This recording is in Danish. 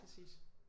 Præcis